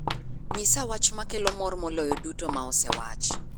nyisa wach ma kelo mor moloyo duto ma osewach